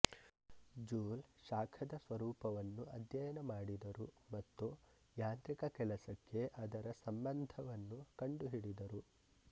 ಜೂಲ್ ಶಾಖದ ಸ್ವರೂಪವನ್ನು ಅಧ್ಯಯನ ಮಾಡಿದರು ಮತ್ತು ಯಾಂತ್ರಿಕ ಕೆಲಸಕ್ಕೆ ಅದರ ಸಂಬಂಧವನ್ನು ಕಂಡುಹಿಡಿದರು